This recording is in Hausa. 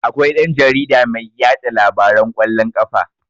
Akwai dan-jarida mai yaɗa labaran kwallon ƙafa.